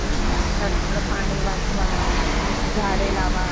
नंतर पानी वाचवा, झाडे लवा,